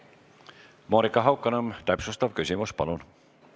Monika Haukanõmm, täpsustav küsimus, palun!